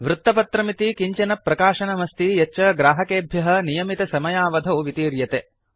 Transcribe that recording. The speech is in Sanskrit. वृत्तपत्रमिति किञ्चन प्रकाशनम् अस्ति यच्च ग्राहकेभ्यः नियमितसमयावधौ वितीर्यते